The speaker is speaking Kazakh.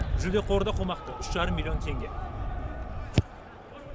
жүлде қоры да қомақты үш жарым миллион теңге